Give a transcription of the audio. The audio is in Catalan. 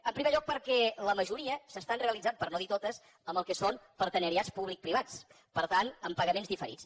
en primer lloc perquè la majoria s’estan realitzant per no dir totes amb el que són partenariats públic privats per tant amb pagaments diferits